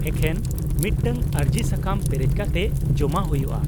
ᱼᱮᱠᱷᱮᱱ ᱢᱤᱫᱴᱟᱝ ᱟᱹᱨᱡᱤ ᱥᱟᱠᱟᱢ ᱯᱮᱨᱮᱡᱽ ᱠᱟᱛᱮ ᱡᱚᱢᱟ ᱦᱩᱭᱩᱜᱼᱟ ᱾